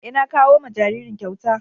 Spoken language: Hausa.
Eh, na kawo ma jaririn kyauta.